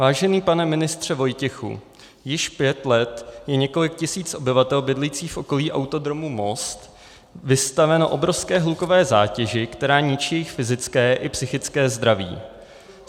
Vážený pane ministře Vojtěchu, již pět let je několik tisíc obyvatel bydlících v okolí Autodromu Most vystaveno obrovské hlukové zátěži, která ničí jejich fyzické i psychické zdraví.